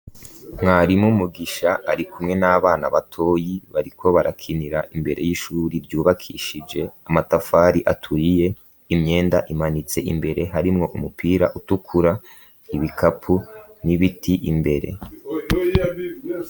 Mwarimo umugisha ari kumwe n'abana batoyi bariko barakinira imbere y'ishuri ryubakishije amatafari aturiye imyenda imanitse imbere harimwo umupira utukura ibikapu n'ibiti imbere.